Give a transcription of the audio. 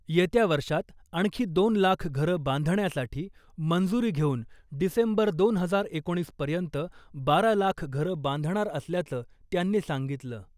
येत्या वर्षात आणखी दोन लाख घरं बांधण्यासाठी मंजुरी घेऊन डिसेंबर दोन हजार एकोणीसपर्यंत बारा लाख घरं बांधणार असल्याचं त्यांनी सांगितलं .